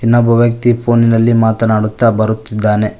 ಇನ್ನೊಬ್ಬ ವ್ಯಕ್ತಿ ಫೋನಿನಲ್ಲಿ ಮಾತನಾಡುತ್ತಾ ಬರುತ್ತಿದ್ದಾನೆ.